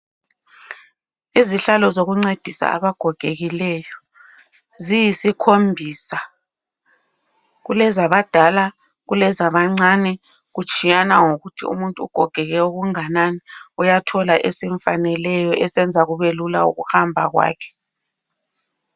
Izihlalo zokuncedisa abagogekileyo ziyisikhombisa. Kulezabadala kulezabancane kutshiyana ngokuthi umuntu ugogeke okunganani. Uyathola esimfaneleyo esenza kube lula ukuhamba kwakhe.